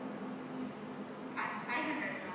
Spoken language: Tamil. five five hundred ma'am